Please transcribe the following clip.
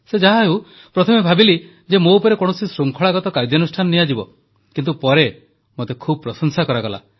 ସେ ଯାହାହେଉ ପ୍ରଥମେ ଭାବିଲି ଯେ ମୋ ଉପରେ କୌଣସି ଶୃଙ୍ଖଳାଗତ କାର୍ଯ୍ୟାନୁଷ୍ଠାନ ନିଆଯିବ କିନ୍ତୁ ପରେ ମୋତେ ଖୁବ୍ ପ୍ରଶଂସା କରାଗଲା